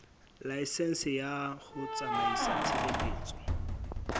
laesense ya ho tsamaisa tshebeletso